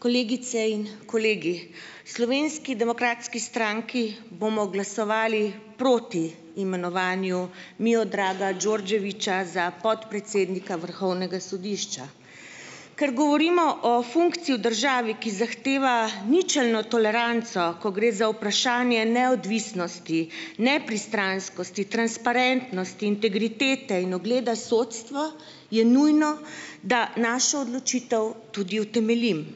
Kolegice in kolegi. Slovenski demokratski stranki bomo glasovali proti imenovanju Miodraga Đorđevića za podpredsednika vrhovnega sodišča. Ker govorimo o funkciji v državi, ki zahteva ničelno toleranco, ko gre za vprašanje neodvisnosti, nepristranskosti, transparentnosti, integritete in ugleda sodstva, je nujno, da našo odločitev tudi utemeljim.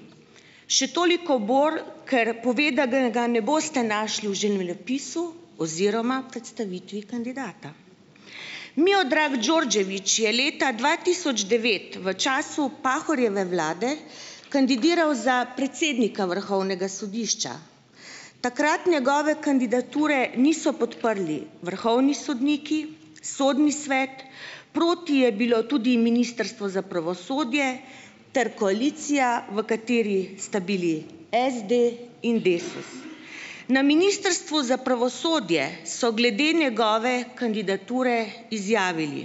Še toliko bolj, ker pove, da ga, ga ne boste našli v življenjepisu oziroma predstavitvi kandidata. Miodrag Đorđević je leta dva tisoč devet v času Pahorjeve vlade kandidiral za predsednika vrhovnega sodišča. Takrat njegove kandidature niso podprli vrhovni sodniki, sodni svet, proti je bilo tudi ministrstvo za pravosodje ter koalicija, v kateri sta bili SD in Desus. Na ministrstvu za pravosodje so glede njegove kandidature izjavili: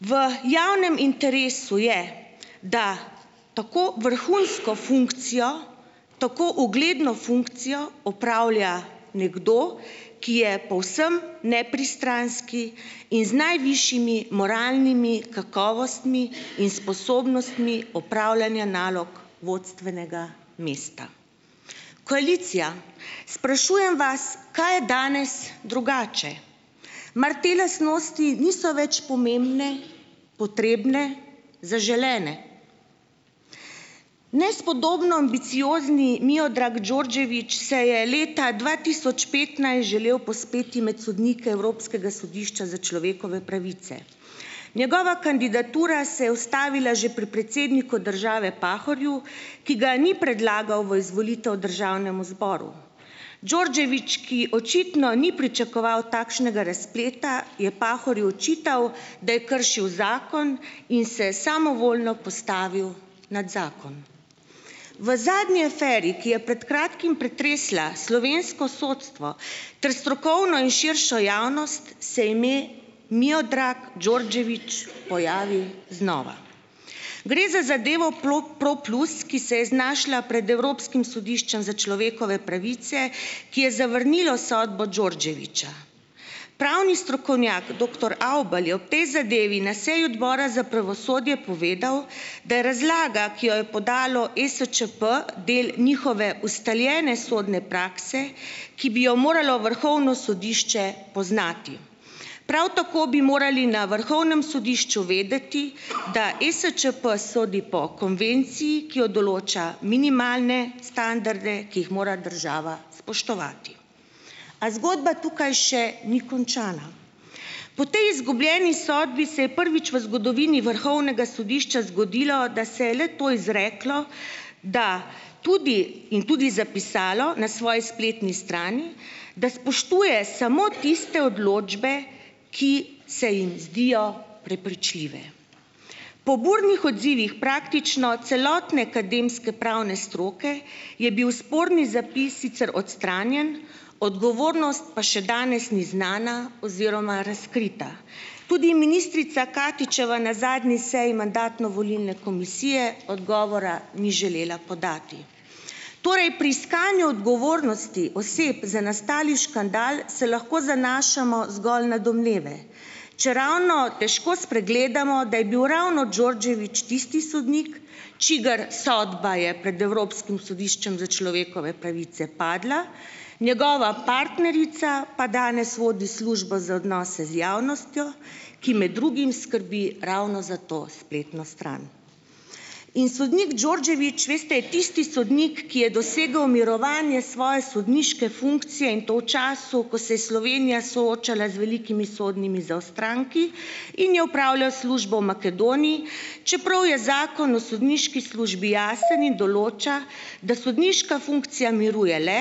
"V javnem interesu je, da tako vrhunsko funkcijo, tako ugledno funkcijo opravlja nekdo, ki je povsem nepristranski in z najvišjimi moralnimi kakovostmi in sposobnostmi upravljanja nalog vodstvenega mesta." Koalicija, sprašujem vas, kaj je danes drugače? Mar te lastnosti niso več pomembne, potrebne, zaželene? Nespodobno ambiciozni Miodrag Đorđević se je leta dva tisoč petnajst želel povzpeti med sodnike Evropskega sodišča za človekove pravice. Njegova kandidatura se je ustavila že pri predsedniku države Pahorju, ki ga ni predlagal v izvolitev državnemu zboru. Đorđević, ki očitno ni pričakoval takšnega razpleta, je Pahorju očital, da je kršil zakon in se samovoljno postavil nad zakon. V zadnji aferi, ki je pred kratkim pretresla slovensko sodstvo ter strokovno in širšo javnost, se ime Miodrag Đorđević pojavi znova. Gre za zadevo Pro plus, ki se je znašla pred Evropskim sodiščem za človekove pravice, ki je zavrnilo sodbo Đorđevića. Pravni strokovnjak doktor Avbelj je ob tej zadevi na seji odbora za pravosodje povedal, da je razlaga, ki jo je podalo ESČP, del njihove ustaljene sodne prakse, ki bi jo moralo vrhovno sodišče poznati. Prav tako bi morali na vrhovnem sodišču vedeti, da ESČP sodi po konvenciji, ki jo določa minimalne standarde, ki jih mora država spoštovati. A zgodba tukaj še ni končana. Po tej izgubljeni sodbi se je prvič v zgodovini vrhovnega sodišča zgodilo, da se je le-to izreklo, da tudi in tudi zapisalo na svoji spletni strani, da spoštuje samo tiste odločbe, ki se jim zdijo prepričljive. Po burnih odzivih praktično celotne akademske pravne stroke, je bil sporni zapis sicer odstranjen, odgovornost pa še danes ni znana oziroma razkrita. Tudi ministrica Katičeva na zadnji seji mandatno-volilne komisije odgovora ni želela podati. Torej pri iskanju odgovornosti oseb za nastali škandal, se lahko zanašamo zgolj na domneve, če ravno težko spregledamo, da je bil ravno Đorđević tisti sodnik, čigar sodba je pred evropskim sodiščem za človekove pravice padla, njegova partnerica pa danes vodi službo za odnose z javnostjo, ki med drugim skrbi ravno za to spletno stran. In sodnik Đorđević, veste, je tisti sodnik, ki je dosegal mirovanje svoje sodniške funkcije, in to v času, ko se je Slovenija soočala z velikimi sodnimi zaostanki in je opravljal službo v Makedoniji, čeprav je zakon o sodniški službi jasen in določa, da sodniška funkcija miruje le,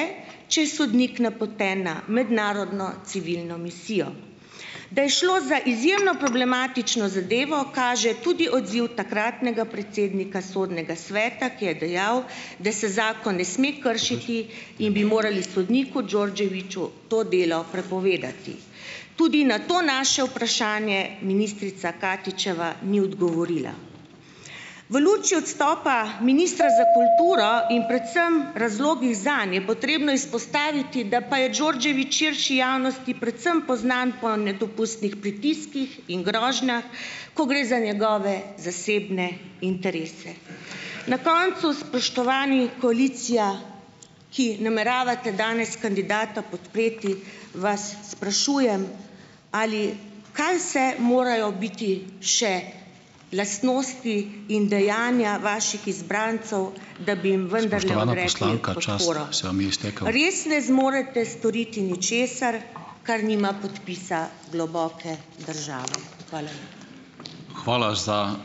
če je sodnik napoten na mednarodno civilno misijo. Da je šlo za izjemno problematično zadevo, kaže tudi odziv takratnega predsednika sodnega sveta, ki je dejal, da se zakon ne sme kršiti in bi morali sodniku Đorđeviću to delo prepovedati. Tudi na to naše vprašanje ministrica Katičeva ni odgovorila. V luči odstopa ministra za kulturo in predvsem razlogih zanj je potrebno izpostaviti, da pa je Đorđević širši javnosti predvsem poznan po nedopustnih pritiskih in ko gre za njegove zasebne interese. Na koncu, spoštovani, koalicija, ki nameravate danes kandidata podpreti, vas sprašujem, ali kaj vse morajo biti še lastnosti in dejanja vaših izbrancev, Res ne zmorete storiti ničesar, kar nima podpisa globoke države? Hvala.